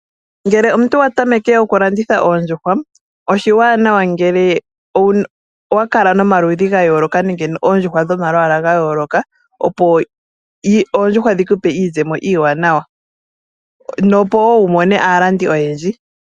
Ngele omuntu wa tameke okulanditha oondjuhwa oshiwanawa ngele owa kala nomaludhi ga yooloka nenge oondjuhwa dhomalwaala ga yooloka, opo oondjuhwa dhi ku pe iizemo iiwanawa nopo wo wu mone aalandi oyendji.